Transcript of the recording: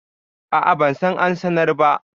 A'a, ban san ansar ba.